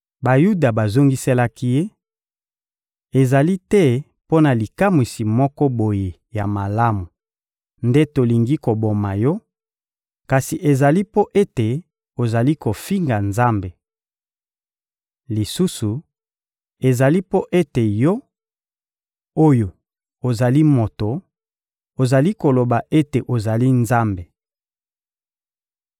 Bayuda bazongiselaki Ye: — Ezali te mpo na likamwisi moko boye ya malamu nde tolingi koboma yo, kasi ezali mpo ete ozali kofinga Nzambe. Lisusu, ezali mpo ete, yo oyo ozali moto, ozali koloba ete ozali Nzambe.